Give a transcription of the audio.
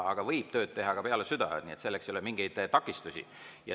Aga võib tööd teha ka peale südaööd, selleks ei ole mingeid takistusi.